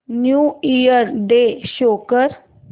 new Year Day show कर